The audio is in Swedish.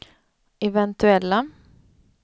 eventuella